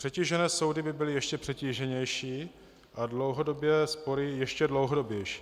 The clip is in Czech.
Přetížené soudy by byly ještě přetíženější a dlouhodobé spory ještě dlouhodobější.